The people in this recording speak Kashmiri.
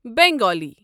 بنگالی